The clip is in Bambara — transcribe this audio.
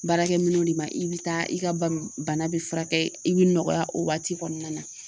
Baarakɛ minɛw de ma i bɛ taa i ka ba bana bɛ fura kɛ i bɛ nɔgɔya o waati kɔnɔna na.